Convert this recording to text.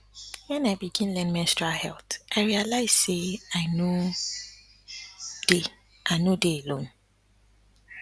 when i begin learn menstrual health i realize say i no dey i no dey alone